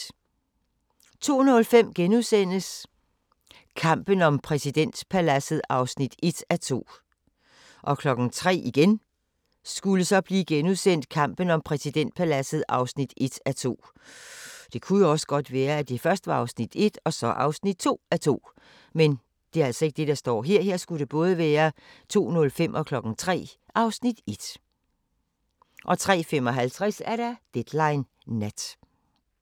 02:05: Kampen om præsidentpaladset (1:2)* 03:00: Kampen om præsidentpaladset (1:2)* 03:55: Deadline Nat